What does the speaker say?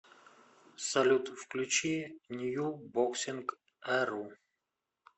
салют включи нью боксинг эру